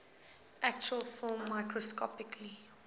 actual film microscopically